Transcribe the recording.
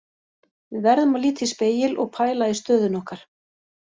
Við verðum að líta í spegil og pæla í stöðunni okkar.